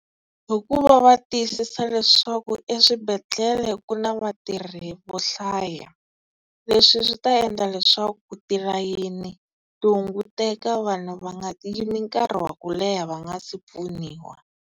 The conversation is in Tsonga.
Hikuva va tiyisisa leswaku eswibedhlele ku na vatirhi vo hlaya, leswi swi ta endla leswaku tilayini ti hunguteka vanhu va nga yimi nkarhi wa ku leha va nga si pfuniwa.